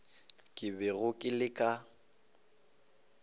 ke bego ke le ka